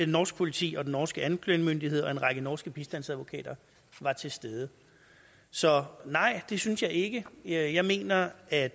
norsk politi og den norske anklagemyndighed og en række norske bistandsadvokater var til stede så nej det synes jeg ikke jeg jeg mener at